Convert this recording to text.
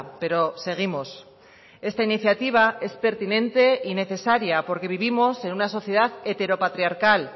pero seguimos esta iniciativa es pertinente y necesaria porque vivimos en una sociedad heteropatriarcal